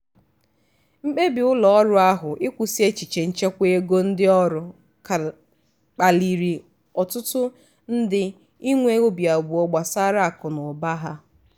mkpebi ụlọọrụ ahụ ịkwụsị echiche nchekwa ego ndị ọrụ kpaliri ọtụtụ ndị inwee obi abụọ gbasara akụ na ụba ha.